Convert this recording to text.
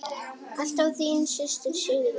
Alltaf þín systir, Sigrún.